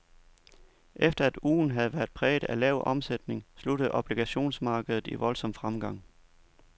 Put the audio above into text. Efter at ugen havde været præget af lav omsætning sluttede obligationsmarkedet i voldsom fremgang.